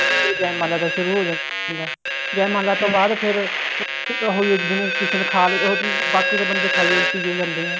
ਜੈ ਮਾਲਾ ਦਾ ਸ਼ੁਰੂ ਹੋ ਜਾਂਦਾ ਜੈ ਮਾਲਾ ਤੋਂ ਬਾਅਦ ਫ਼ੇਰ ਉਹੀ ਆ ਕਿਸੇ ਨੇ ਖਾਲੀ ਬਾਕੀ ਤਾਂ ਬੰਦੇ ਖਾਈ ਪੀਓ ਜਾਂਦੇ ਨੇ